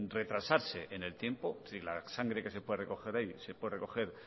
retrasarse en el tiempo es decir la sangre que se puede recoger hoy se puede recoger